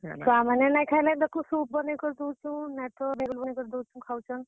ଛୁଆ ମାନେ ନାଇଁ ଖାଏଲେ ଦେଖ soup ବନେଇ କରି ଦଉଛୁଁ ଖାଉଛନ୍।